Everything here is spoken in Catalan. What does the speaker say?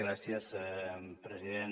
gràcies president